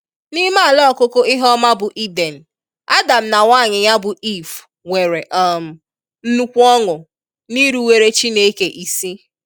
N'ime ala ọkụkụ ihe ọma bụ Eden, Adam na nwaanyị ya bụ Eve nwere um nnukwu ọṅụ n'iruwere Chineke isi.